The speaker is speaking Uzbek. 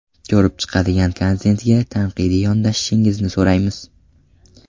Ko‘rib chiqadigan kontentga tanqidiy yondashishingizni so‘raymiz.